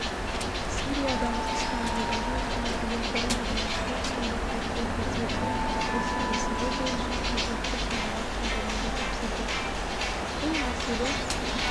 сириядағы ыстамбұлдағы және иорданиядағы консулдықтың өкілдеріне осы мәселе бойынша қажетті шаралар қолдануды тапсырды бұл мәселе